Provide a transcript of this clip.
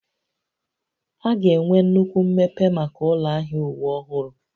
A ga-enwe nnukwu mmepe maka ụlọ ahịa uwe ọhụrụ